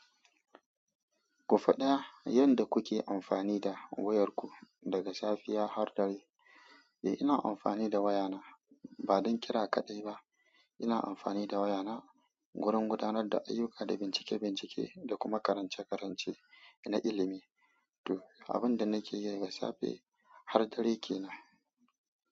Ku faɗa yanda kuke amfani da wayarku daga safiya har dare? Eh, ina amfani da wayana ba don kira kaɗai ba. Ina amfani da wayana wurin gudanar da ayyuka da bincike-bincike da kuma karance-karance na ilimi. To, abin da nake yi daga safe har dare ke nan.